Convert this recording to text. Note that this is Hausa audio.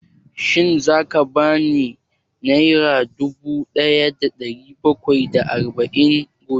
Shin za ka ba ni nera dubu ɗaya da ɗari bakwai da arba'in gobe?